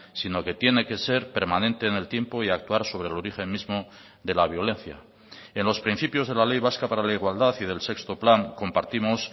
sino que tiene que ser permanente en el tiempo y actuar sobre el origen mismo de la violencia en los principios de la ley vasca para la igualdad y del sexto plan compartimos